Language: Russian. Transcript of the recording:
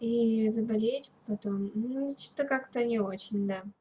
и заболеешь потом что-то как-то не очень да